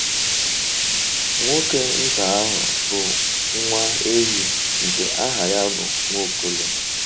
Nwoke nta ahụ bụ nwa ehi nke aha ya bụ Nwaokolo.